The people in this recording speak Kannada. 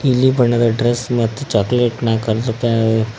ನೀಲಿ ಬಣ್ಣದ ಡ್ರೆಸ್ ಮತ್ತು ಚಾಕ್ಲೆಟ್ ನ ಕಲ